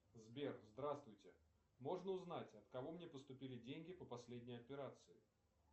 сбер здравствуйте можно узнать от кого мне поступили деньги по последней операции